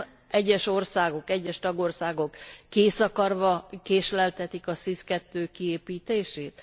Nem egyes országok, egyes tagországok készakarva késleltetik a SIS II kiépítését?